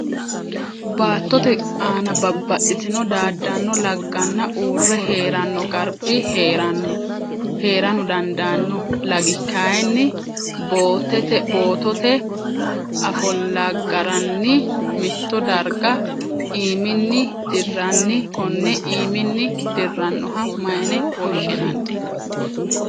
Baattote aanna babbaxitino daadano laganna uure heeranno garbi heerano daadano lagi kayinni bootote afolagarinni mitto darga iiminni diranni konne iiminni dirannoha mayine woshinnanni?